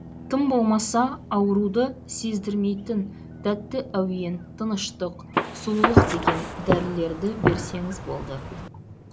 тым болмаса ауруды сездірмейтін тәтті әуен тыныштық сұлулық деген дәрілерді берсеңіз болды